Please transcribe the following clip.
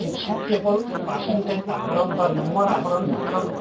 শিক্ষা কেৱল percentage আহৰণ বা নম্বৰ আহৰণ মাত্ৰ নহয়